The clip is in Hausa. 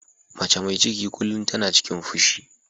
Mace mai ciki kullum tana cikin fushi.